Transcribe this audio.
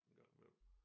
En gang imellem